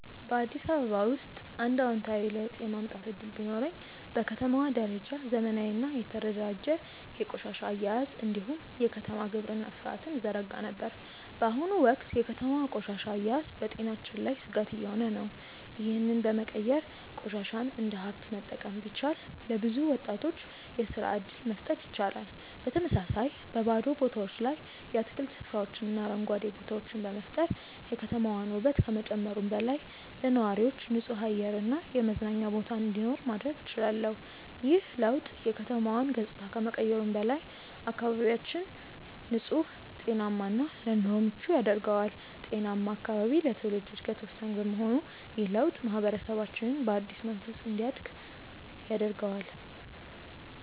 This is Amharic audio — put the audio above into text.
በአዲስ አበባ ውስጥ አንድ አዎንታዊ ለውጥ የማምጣት እድል ቢኖረኝ፣ በከተማዋ ደረጃ ዘመናዊና የተደራጀ የቆሻሻ አያያዝ እንዲሁም የከተማ ግብርና ሥርዓትን እዘረጋ ነበር። በአሁኑ ወቅት የከተማዋ ቆሻሻ አያያዝ በጤናችን ላይ ስጋት እየሆነ ነው፤ ይህንን በመቀየር ቆሻሻን እንደ ሀብት መጠቀም ቢቻል፣ ለብዙ ወጣቶች የስራ እድል መፍጠር ይቻላል። በተመሳሳይ፣ በባዶ ቦታዎች ላይ የአትክልት ስፍራዎችንና አረንጓዴ ቦታዎችን በመፍጠር የከተማዋን ውበት ከመጨመሩም በላይ፣ ለነዋሪዎች ንጹህ አየር እና የመዝናኛ ቦታ እንዲኖር ማድረግ እችላለሁ። ይህ ለውጥ የከተማዋን ገጽታ ከመቀየሩም በላይ፣ አካባቢያችንን ንጹህ፣ ጤናማ እና ለኑሮ ምቹ ያደርገዋል። ጤናማ አካባቢ ለትውልድ ዕድገት ወሳኝ በመሆኑ ይህ ለውጥ ማህበረሰባችንን በአዲስ መንፈስ እንዲያድግ ያደርገዋል።